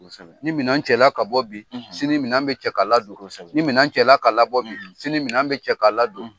Ni minɛn cɛla ka bɔ bi sini minɛn bɛ cɛ ka ladon kosɛbɛ ni minɛn cɛla ka la bɔ bi sini minɛn bɛ cɛ ka la don